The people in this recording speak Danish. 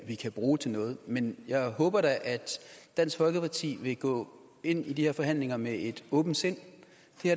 vi kan bruge til noget men jeg håber da at dansk folkeparti vil gå ind i de her forhandlinger med et åbent sind